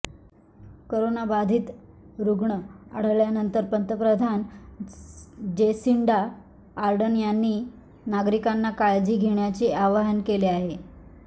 करोनाबाधित रुग्ण आढळल्यानंतर पंतप्रधान जेसिंडा आर्डर्न यांनी नागरिकांना काळजी घेण्याचे आवाहन केले आहे